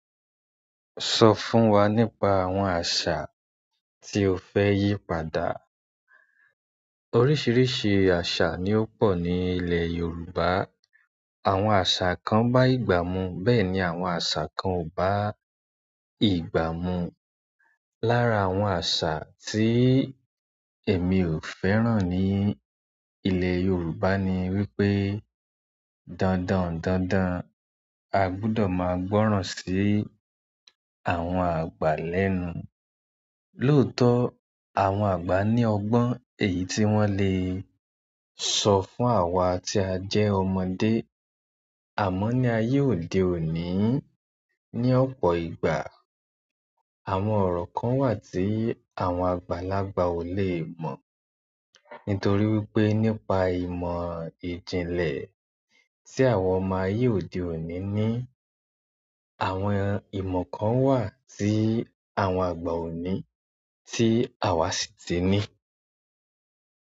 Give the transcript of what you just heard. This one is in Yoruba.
Sọ fún wa nípa àwọn àṣà tí o fẹ́ yí padà. Oríṣiríṣi aṣa ni ó pọ̀ ní ilẹ̀ Yorùbá. Àwọn àṣà kan bá ìgbà mu, bẹ́ẹ̀ ni àwọn àṣà kan ò bá ìgbà mu. Lára àwọn àṣà tí èmi ò fẹ́ràn ní ilẹ̀ Yorùbá ni wípé dandan dandan a gbọdọ̀ máa gbọ́ràn sí àwọn àgbà lẹ́nu. Lóòótọ́ àwọn àgbà ní ọgbọ́n èyí tí wọ́n le sọ fún àwa tí a jẹ́ ọmọdé. Àmọ́ ní ayé òde òní, ní ọ̀pọ̀ ìgbà àwọn ọ̀ro kan wà tí àwọn àgbàlagbà ò lè mọ̀. Nítorí wípé nípa ìmọ̀ ìjìnlẹ̀ tí àwọn ọmọ ayé òde òní ní, àwọn ìmọ̀ kan wà tí àwọn àgba ò ní tí àwa sì ti ní.